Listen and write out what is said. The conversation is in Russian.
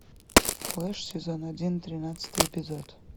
флеш сезон один тринадцатый эпизод